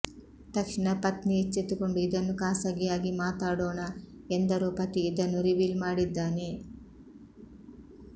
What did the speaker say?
ತಕ್ಷಣ ಪತ್ನಿ ಎಚ್ಚೆತ್ತುಕೊಂಡು ಇದನ್ನು ಖಾಸಗಿಯಾಗಿ ಮಾತಾಡೋಣ ಎಂದರೂ ಪತಿ ಇದನ್ನು ರಿವೀಲ್ ಮಾಡಿದ್ದಾನೆ